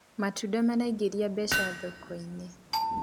matunda maraingiria mbeca thoko-inĩ